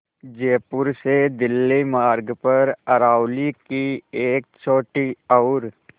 जयपुर से दिल्ली मार्ग पर अरावली की एक छोटी और